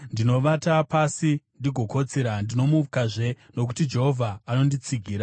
Ndinovata pasi ndigokotsira; ndinomukazve, nokuti Jehovha anonditsigira.